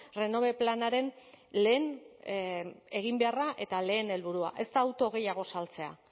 renove planaren lehen eginbeharra eta lehen helburua ez da auto gehiago saltzea